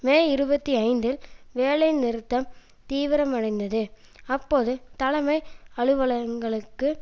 மே இருபத்தி ஐந்தில் வேலை நிறுத்தம் தீவிரமடைந்தது அப்போது தலைமை அலுவலகங்களுக்கு